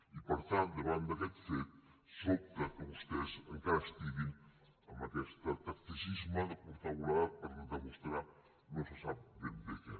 i per tant davant d’aquest fet sobta que vostès encara estiguin amb aquest tacticisme de curta volada per demostrar no se sap ben bé què